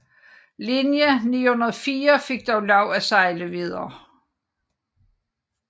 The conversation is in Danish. Linje 904 fik dog lov at sejle videre